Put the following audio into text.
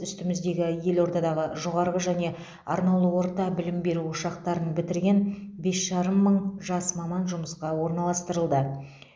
үстіміздегі елордадағы жоғарғы және арнаулы орта білім беру ошақтарын бітірген бес жарым мың жас маман жұмысқа орналастырылды